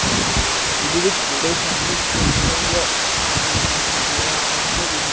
ਇਹਦੇ ਵਿੱਚ ਜਿਹੜੇ ਸਾਹਮਣੇ ਪਲੇਗਰਾਊਂਡ ਆ ਤੇ ਇਹਦੇ ਵਿੱਚ ਜਿਹੜੇ ਆ ਕਾਫੀ ਸਾਰੇ--